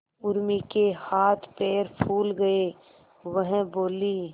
उर्मी के हाथ पैर फूल गए वह बोली